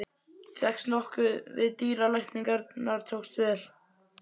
Fékkst nokkuð við dýralækningar og tókst vel.